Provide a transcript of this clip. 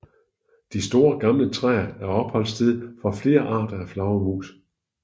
De store gamle træer er opholdssted for flere arter af flagermus